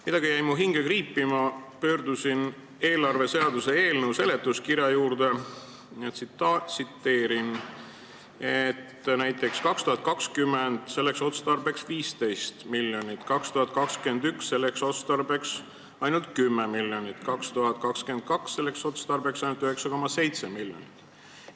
Midagi jäi mu hinge kriipima ja ma vaatasin eelarveseaduse eelnõu seletuskirja, kus on öeldud, et aastal 2020 on selleks otstarbeks 15 miljonit, aastal 2021 ainult 10 miljonit ja aastal 2022 vaid 9,7 miljonit.